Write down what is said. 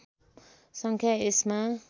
सङ्ख्या यसमा